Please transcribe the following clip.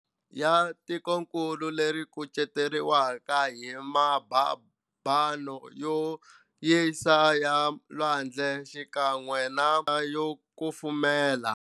Ya tikonkulu leri yikuceteriwa hi mababano yo yisa ya lwandle xikan'we na yo kufumela.